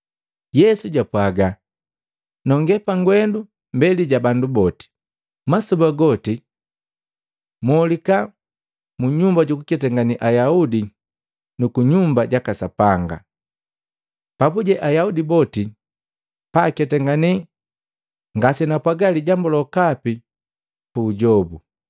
Yesu japwaaga, “Nongee pagwendu mbeli ja bandu boti. Masoba goti molika mu Nyumba juku ketangane Ayaudi nu ku Nyumba jaka Sapanga, papuje Ayaudi boti paaketangane ngasenapwaga lijambu lokapi puujobu.